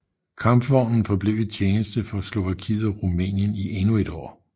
Kampvognen forblev i tjeneste for Slovakiet og Rumænien i endnu et år